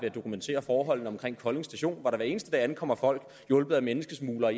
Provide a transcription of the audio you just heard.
at dokumentere forholdene omkring kolding station hvor der hver eneste dag ankommer folk hjulpet af menneskesmuglere